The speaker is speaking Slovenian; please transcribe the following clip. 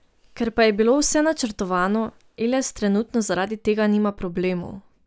Ker pa je bilo vse načrtovano, Eles trenutno zaradi tega nima problemov.